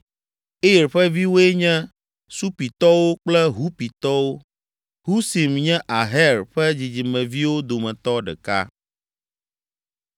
Ir ƒe viwoe nye Supitɔwo kple Hupitɔwo. Husim nye Aher ƒe dzidzimeviwo dometɔ ɖeka.